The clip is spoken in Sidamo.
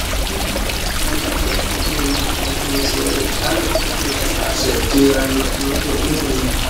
Wo'mankanni Maganu mine callu fushihu gede asse kiirano mitu mitu manni